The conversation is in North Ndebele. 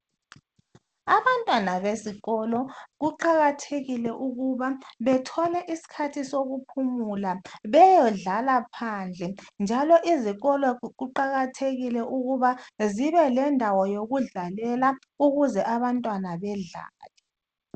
Abantwana besikolo kuqakethekile ukuba bethole isikhathi sokuphumula beyodlala phandle njalo izikolo kuqakathekile ukuba zibelendawo yokudlalela ukuze abantwana bedlale.